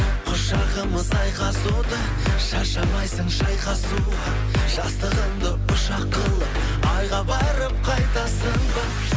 құшағымыз айқасуда шаршамайсың шайқасуға жастығыңды ұшақ қылып айға барып қайтасың ба